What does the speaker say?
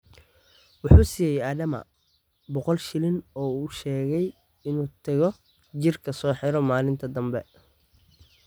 Wuxuu siiyey Adama boqol shilin oo u sheegay inuu tago jirka soo xiro maalinta dambe.